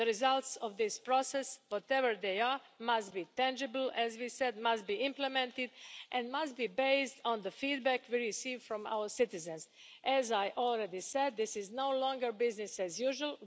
The results of this process whatever they are must be tangible, must be implemented and must be based on the feedback we receive from our citizens. As I already said, this is no longer business as usual.